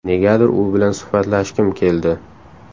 Negadir u bilan suhbatlashgim keldi.